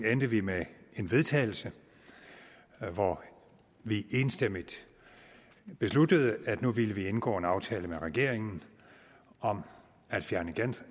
endte vi med en vedtagelse hvor vi enstemmigt besluttede at vi nu ville indgå en aftale med regeringen om at fjerne